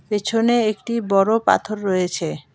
পেছনে একটি বড় পাথর রয়েছে।